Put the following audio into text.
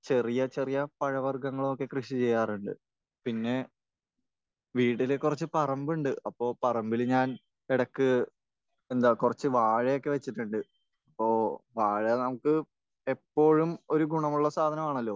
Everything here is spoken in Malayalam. ചെറിയ ചെറിയ പഴവർഗങ്ങളൊക്കെ കൃഷി ചെയ്യാറുണ്ട്. പിന്നെ വീട്ടിൽ കുറച്ച് പറമ്പുണ്ട്. അപ്പോൾ പറമ്പിൽ ഞാൻ ഇടക്ക് എന്താ കുറച്ച് വാഴയൊക്കെ വെച്ചിട്ടുണ്ട്. ഇപ്പോൾ വാഴ നമുക്ക് എപ്പോഴും ഒരു ഗുണമുള്ള സാധനമാണല്ലോ.